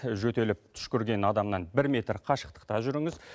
жөтеліп түшкірген адамнан бір метр қашықтықта жүріңіз